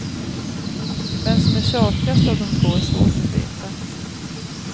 Vem som är tjatigast av de två är svårt att veta.